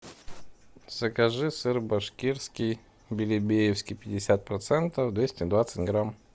закажи сыр башкирский белебеевский пятьдесят процентов двести двадцать грамм